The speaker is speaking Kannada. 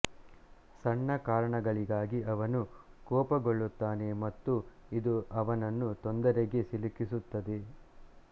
ಸಣ್ಣ ಕಾರಣಗಳಿಗಾಗಿ ಅವನು ಕೋಪಗೊಳ್ಳುತ್ತಾನೆ ಮತ್ತು ಇದು ಅವನನ್ನು ತೊಂದರೆಗೆ ಸಿಲುಕಿಸುತ್ತದೆ